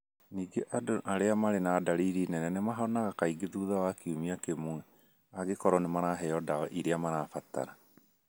Ningĩ andũ arĩa marĩ na ndariri nene nĩ mahonaga kaingĩ thutha wa kiumia kĩmwe, angĩkorũo nĩ maraheo ndawa ĩrĩa marabatara.